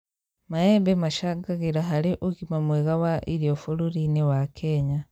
Maembe macangagĩra harĩ ũgima mwega wa irio bũrũri-inĩ wa kenya